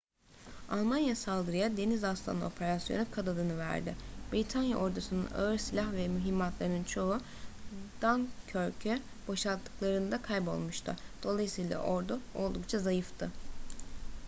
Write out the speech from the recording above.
almanya saldırıya deniz aslanı operasyonu kod adını verdi britanya ordusu'nun ağır silah ve mühimmatlarının çoğu dunkirk'ü boşalttıklarında kaybolmuştu dolayısıyla ordu oldukça zayıftı